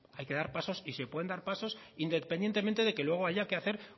hay que dar pasos y se pueden dar pasos independientemente de que luego haya que hacer